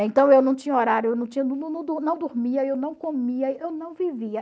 Então, eu não tinha horário, eu não tinha não dormia, eu não comia, eu não vivia.